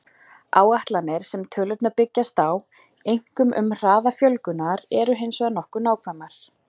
Áætlanirnar sem tölurnar byggjast á, einkum um hraða fjölgunar, eru hins vegar nokkuð nákvæmar.